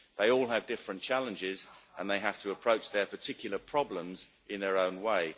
They all have different challenges and they have to approach their particular problems in their own way.